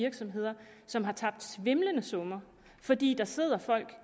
virksomheder som har tabt svimlende summer fordi der sidder folk